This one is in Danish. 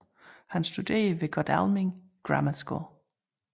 Han studerede ved Godalming Grammar School